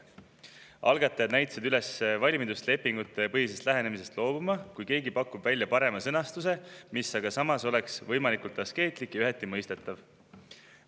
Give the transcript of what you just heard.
Algatajad näitasid üles valmidust lepingupõhisest lähenemisest loobuda, kui keegi pakub välja parema sõnastuse, mis oleks samas võimalikult askeetlik ja üheti mõistetav.